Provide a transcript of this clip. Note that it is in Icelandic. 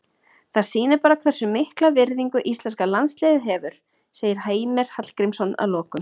Það sýnir bara hversu mikla virðingu íslenska landsliðið hefur, segir Heimir Hallgrímsson að lokum.